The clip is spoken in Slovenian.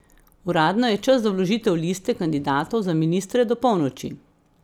Uradno je čas za vložitev liste kandidatov za ministre do polnoči.